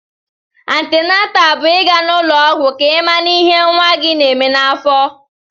Antịnátà bụ ị ga n'ụlọ ọgwụ ka ị mara ihé nwa gị na-èmè n'afọ